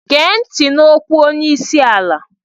Gee ntị n'okwu onye isi ala!